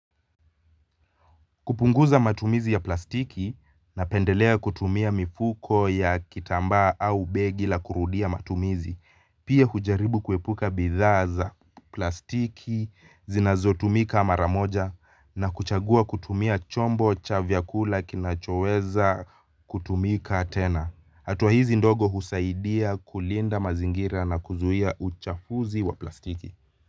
Kupunguza matumizi ya plastiki napendelea kutumia mifuko ya kitambaa au begi la kurudia matumizi, pia hujaribu kuepuka bidhaa za, plastiki, zinazotumika mara moja na kuchagua kutumia chombo cha vyakula kinachoweza kutumika tena. Hatua hizi ndogo husaidia kulinda mazingira na kuzuia uchafuzi wa plastiki.